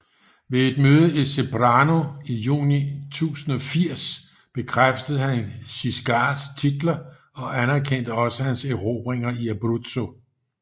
Ved et møde i Ceprano i juni 1080 bekræftede han Guiscards titler og anerkendte også hans erobringer i Abruzzo